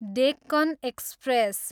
Deccan express